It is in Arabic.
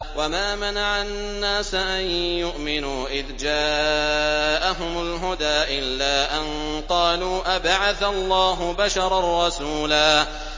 وَمَا مَنَعَ النَّاسَ أَن يُؤْمِنُوا إِذْ جَاءَهُمُ الْهُدَىٰ إِلَّا أَن قَالُوا أَبَعَثَ اللَّهُ بَشَرًا رَّسُولًا